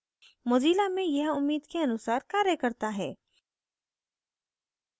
mozilla में यह उम्मीद के अनुसार कार्य करता है